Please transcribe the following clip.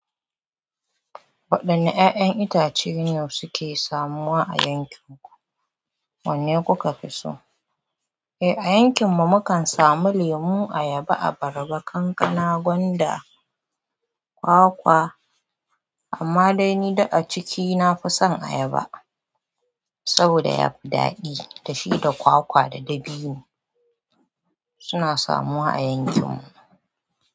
Waɗanne ƴaƴan itace ne suke samuwa a yankin ku? Wanne kuka fi so? Eh, a yankin mu mukan samu lemu, ayaba, abarba, kankana, gwanda, kwa-kwa. Amma dai ni dik a ciki nafi son ayaba saboda yafi daɗi. Dashi da kwakwa da dabino suna samuwa a yankin mu.